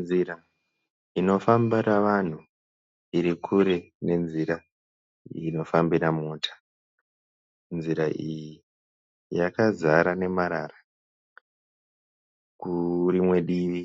Nzira inofamba nevanhu irikure nenzira inofambira mota. Nzira iyi yakazara nemarara. Kurimwe divi